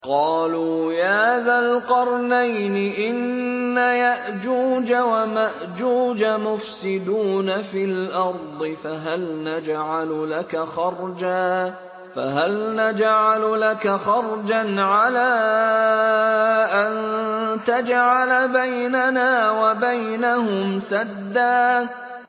قَالُوا يَا ذَا الْقَرْنَيْنِ إِنَّ يَأْجُوجَ وَمَأْجُوجَ مُفْسِدُونَ فِي الْأَرْضِ فَهَلْ نَجْعَلُ لَكَ خَرْجًا عَلَىٰ أَن تَجْعَلَ بَيْنَنَا وَبَيْنَهُمْ سَدًّا